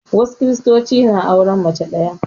Wasu Kiristocin na auren mace ɗaya